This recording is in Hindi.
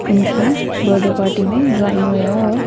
उनकी बर्थडे पार्टी में जॉईन हुए हैं और--